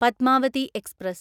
Padmavati express